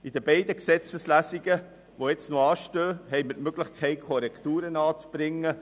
In den beiden Gesetzeslesungen, die noch anstehen, haben wir die Möglichkeit, bei Bedarf Korrekturen anzubringen.